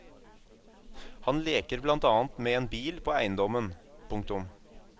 Han leker blant annet med en bil på eiendommen. punktum